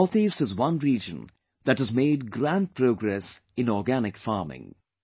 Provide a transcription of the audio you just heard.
North east is one region that has made grand progress in organic farming